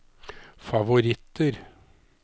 favoritter